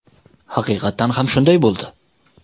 Haqiqatan ham shunday bo‘ldi.